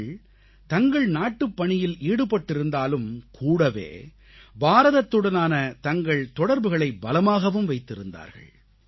அவர்கள் தங்கள் நாட்டுப்பணியில் ஈடுபட்டிருந்தாலும் கூடவே பாரதத்துடனான தங்கள் தொடர்புகளை பலமாகவும் வைத்திருக்கிறார்கள்